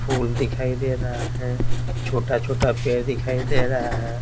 फूल दिखाई दे रहा है छोटा-छोटा पेड़ दिखाई दे रहा है।